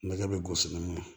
Nɛgɛ bɛ gosi n'o ye